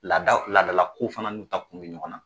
Laadaw laadalakow fana n'u ta kun be ɲɔgɔn na.